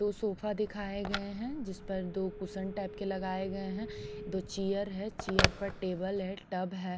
दो सोफा दिखाए गए हैं जिस पर दो कुशन टाइप के लगाए गए हैं दो चेयर है चेयर पर टेबल है टब है।